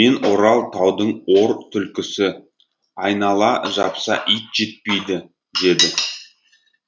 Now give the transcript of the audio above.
мен орал таудың ор түлкісі айнала жапса ит жетпейді деді